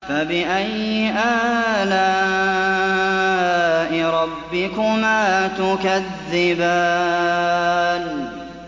فَبِأَيِّ آلَاءِ رَبِّكُمَا تُكَذِّبَانِ